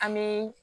An bɛ